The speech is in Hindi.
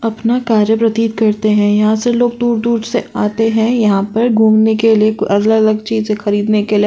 अपना कार्य प्रतीत करते हैं। यहाँ से लोग दूर दूर से आते हैं यहाँ पर घूमने के लिए कु अलग अलग चीजे खरीदने के लिए।